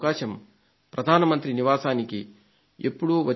ప్రధాన మంత్రి నివాసానికి వారు ఎప్పుడూ వచ్చి ఉండదు